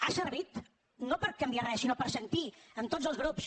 ha servit no per canviar res sinó per sentir en tots els grups